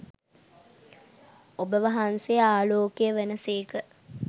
ඔබවහන්සේ ආලෝකය වන සේක.